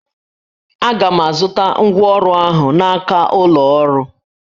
Aga m azụta ngwa ọrụ ahụ n'aka ụlọ ọrụ